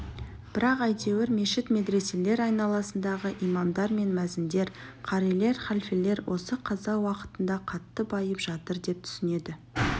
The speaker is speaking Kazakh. бірақ әйтеуір мешіт-медреселер айналасындағы имамдар мен мәзіндер қарилер халфелер осы қаза уақытында қатты байып жатыр деп түсінеді